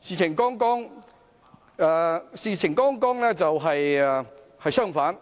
事實剛好相反，